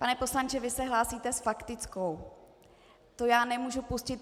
Pan poslanče, vy se hlásíte s faktickou, to já nemůžu pustit.